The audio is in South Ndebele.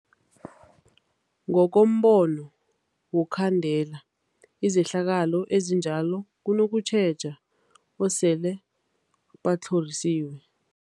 Ngokombono wokhandela izehlakalo ezinjalo kunokutjheja esele batlhorisiwe.